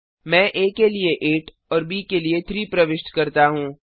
मैं आ के लिए 8 और ब के लिए 3 प्रविष्ट करता हूँ